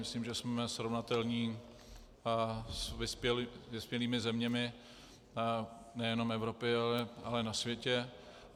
Myslím, že jsme srovnatelní s vyspělými zeměmi nejenom Evropy, ale na světě.